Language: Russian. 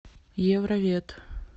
евровет